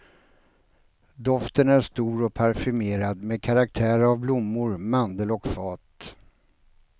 Doften är stor och parfymerad med karaktär av blommor, mandel och fat.